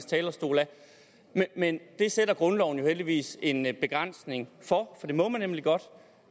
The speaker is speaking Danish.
talerstol men det sætter grundloven jo heldigvis en en begrænsning for for det må man nemlig godt